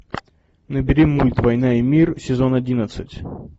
набери мульт война и мир сезон одиннадцать